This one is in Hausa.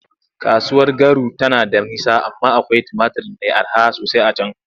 Kasuwar Garu tana da nisa amma akwai tumatur mai araha sosai a can.